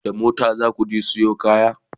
da mota zaku je Sayo kaya?